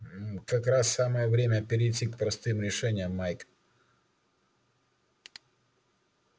как раз самое время перейти к простым решениям майк